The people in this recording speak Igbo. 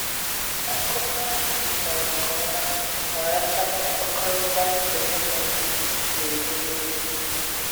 Àkụ̀kọ àhụ kwùkwàrà nke òma bàràtà mkpàkọ́rịtà ezinùlò na-ewùlì élù.